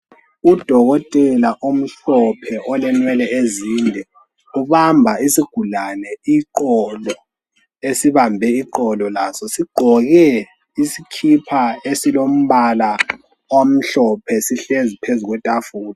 Udolotela omhlophe olenwele ezinde ubamba isigulani iqolo ,esibambe iqolo laso sigqoke isikipa esilombala omhlophe sihlezi phezu kwetafula.